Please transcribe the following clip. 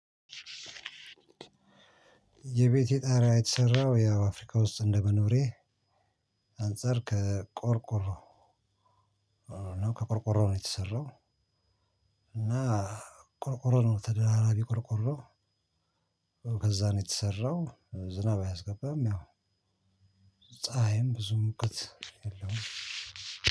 የቤቴ ጣሪያ የተሰራው ያው አፍሪካ ውስጥ እንደመኖሬ አንፃር ከቆርቆሮ ነው ከቆርቆሮ ነው የተሰራው። እና ቆርቆሮ ነው ተደራራቢ ቆርቆሮ ከዛ ነው የተሰራው ዝናብ አያስገባም። ያው ፀሀይም ብዙም ሙቀት የለውም።